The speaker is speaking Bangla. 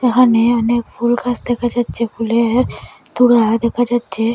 ওহানে অনেক ফুল গাছ দেখা যাচ্চে ফুলের তুরা দেখা যাচ্চে।